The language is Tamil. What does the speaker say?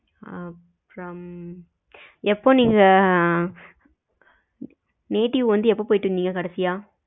ஆ அப்புறம் எப்போ நீங்க native வந்து எப்போ போயிட்டு வந்திங்க கடைசியா?